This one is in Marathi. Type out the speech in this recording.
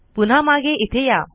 पुन्हा मागे इथे या